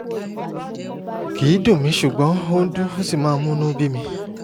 kì í dùn mí ṣùgbọ́n ó ń dún ó sì máa ń múnú bí mi